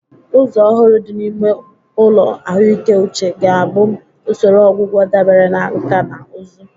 Ụzọ ọhụrụ dị n'ime ụlọ ahụike uche ga-abụ usoro ọgwụgwọ dabere na nkà na ụzụ.